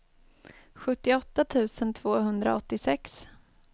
sjuttioåtta tusen tvåhundraåttiosex